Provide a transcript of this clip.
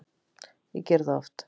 Ég geri það oft